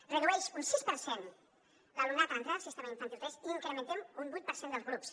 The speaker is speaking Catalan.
es redueix un sis per cent l’alumnat a l’entrar al sistema a infantil tres i incrementem un vuit per cent dels grups